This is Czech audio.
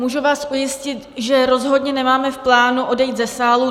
Můžu vás ujistit, že rozhodně nemáme v plánu odejít ze sálu.